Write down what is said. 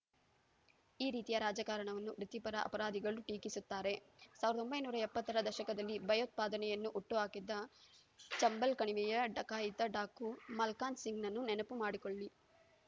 ಈ ರೀತಿಯ ರಾಜಕಾರಣವನ್ನು ವೃತ್ತಿಪರ ಅಪರಾಧಿಗಳೂ ಟೀಕಿಸುತ್ತಾರೆ ಸಾವಿರದ ಒಂಬೈನೂರ ಎಪ್ಪತ್ತರ ದಶಕದಲ್ಲಿ ಭಯೋತ್ಪಾದನೆಯನ್ನು ಹುಟ್ಟುಹಾಕಿದ್ದ ಚಂಬಲ್‌ ಕಣಿವೆಯ ಡಕಾಯಿತ ಡಾಕು ಮಲ್ಖಾನ್‌ಸಿಂಗ್‌ನನ್ನು ನೆನಪುಮಾಡಿಕೊಳ್ಳಿ